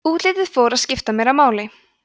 útlitið fór að skipta meira máli